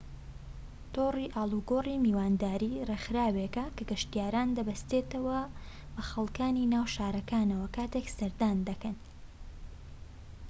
تۆڕی ئاڵۆگۆڕی میوانداری ڕێکخراوێکە کە گەشتیاران دەبەستێتەوە بە خەڵكانی ناو شارەکانەوە کاتێك سەردان دەکەن